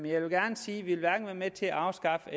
jeg vil gerne sige at vi hverken vil være med til at afskaffe